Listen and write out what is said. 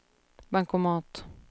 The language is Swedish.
bankomat